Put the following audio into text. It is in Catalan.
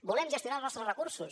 volem gestionar els nostres recursos